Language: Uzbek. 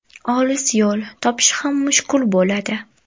Olis yo‘l, topish ham mushkul bo‘ladi.